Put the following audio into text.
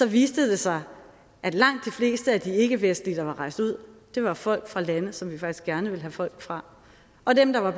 viste det sig at langt de fleste af de ikkevestlige der var rejst ud var folk fra lande som vi faktisk gerne vil have folk fra og dem der var